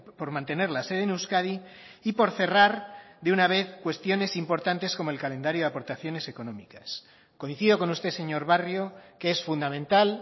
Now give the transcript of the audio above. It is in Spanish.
por mantener la sede en euskadi y por cerrar de una vez cuestiones importantes como el calendario de aportaciones económicas coincido con usted señor barrio que es fundamental